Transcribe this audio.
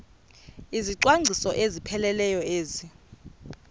izicwangciso ezipheleleyo ezi